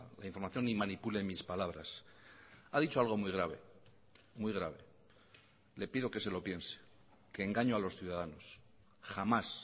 la información ni manipule mis palabras ha dicho algo muy grave muy grave le pido que se lo piense que engaño a los ciudadanos jamás